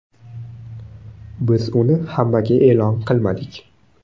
Biz uni hammaga e’lon qilmadik.